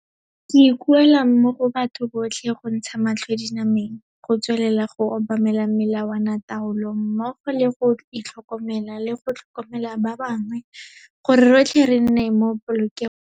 Ke ikuela mo go batho botlhe go ntsha matlho dinameng, go tswelela go obamela melawanataolo, mmogo le go itlhokomela le go tlhokomela ba bangwe gore rotlhe re nne mo polokegong.